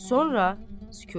Sonra sükut.